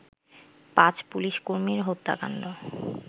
৫ police কর্মীর হত্যাকান্ড